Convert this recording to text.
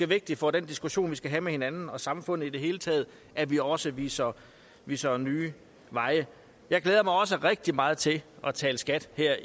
vigtigt for den diskussion vi skal have med hinanden og samfundet i det hele taget at vi også viser viser nye veje jeg glæder mig også rigtig meget til at tale skat her